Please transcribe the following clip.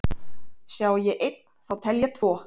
Sjái ég einn þá tel ég tvo,